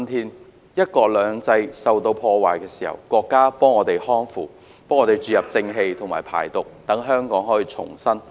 當"一國兩制"遭到破壞時，國家給我們匡扶、注入正氣及排毒，讓香港得以重生。